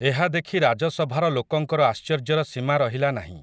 ଏହା ଦେଖି ରାଜସଭାର ଲୋକଙ୍କର ଆଶ୍ଚର୍ଯ୍ୟର ସୀମା ରହିଲା ନାହିଁ ।